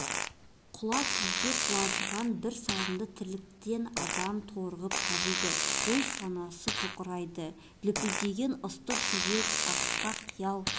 құла түзде құлазыған бір сарынды тірліктен адам торығып қажиды ой-санасы тоқырайды лүпілдеген ыстық жүрек асқақ қиял